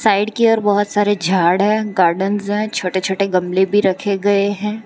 Side की ओर बहोत सारे झाड़ है गार्डेंस हैं और छोटे छोटे गमले भी रखे गए हैं।